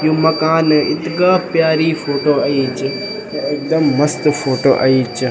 यु मकान इत्गा प्यारी फोटो अई च एकदम मस्त फोटो अई च।